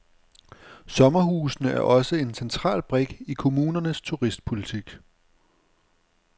Sommerhusene er også en central brik i kommunernes turistpolitik.